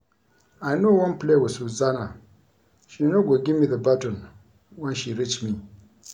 I no wan play with Susanna, she no go give me the baton wen she reach me